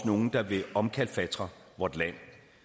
nogle der vil omkalfatre vort land